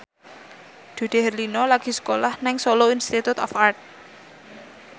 Dude Herlino lagi sekolah nang Solo Institute of Art